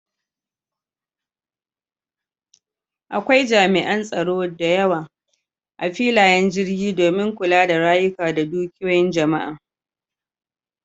Akwai jami'an tsaro da yawa a filayen jirgi domin kula da rayuka da dukiyoyin jama'a.